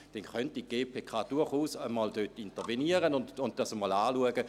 Dann könnte die GPK dort durchaus einmal intervenieren und sich das einmal anschauen.